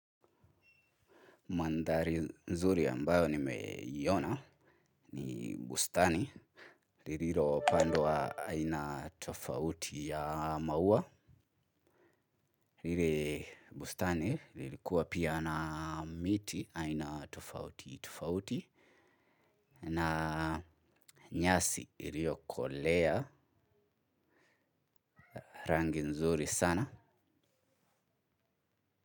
Mandhari nzuri ambayo nimeiona ni bustani. Lililo pandwa aina tofauti ya maua. Lile bustani lilikuwa pia na miti aina tufauti tufauti. Na nyasi iliokolea rangi nzuri sana.